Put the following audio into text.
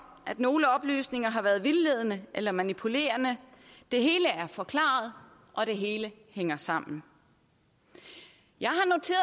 at nogle oplysninger har været vildledende eller manipulerende det hele er forklaret og det hele hænger sammen jeg